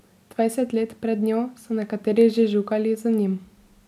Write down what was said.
Dvajset let pred njo so nekateri že žugali z njim.